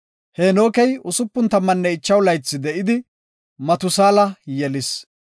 Heenokey 65 laythi de7idi, Matusaala yelis.